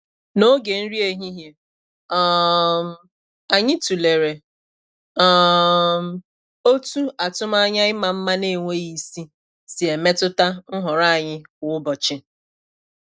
N'oge nri ehihie, um anyị tụlere um otú atụmanya ịma mma na-enweghị isi si emetụta nhọrọ anyị kwa ụbọchị.